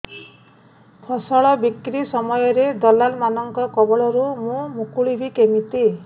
ଫସଲ ବିକ୍ରୀ ସମୟରେ ଦଲାଲ୍ ମାନଙ୍କ କବଳରୁ ମୁଁ ମୁକୁଳିଵି କେମିତି